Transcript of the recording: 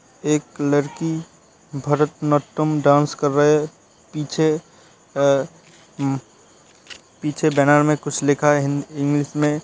एक लड़की Bharatanatyam dance कर रहे। पीछे आ पीछे बैनर में कुछ लिखा है हि इंग्लिश में।